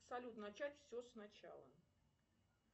салют начать все сначала